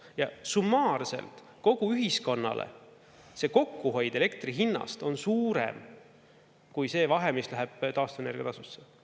Ja summaarselt kogu ühiskonnale see kokkuhoid elektri hinnast on suurem kui see vahe, mis läheb taastuvenergia tasusse.